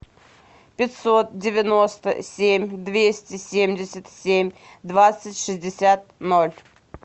пятьсот девяносто семь двести семьдесят семь двадцать шестьдесят ноль